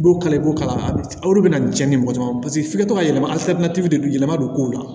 I b'o kala i b'o kala o de bina cɛn ni mɔgɔ caman f'i ka to ka yɛlɛma de yɛlɛma don kow la